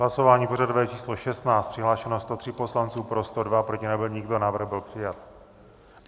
Hlasování pořadové číslo 16, přihlášeno 103 poslanců, pro 102, proti nebyl nikdo, návrh byl přijat.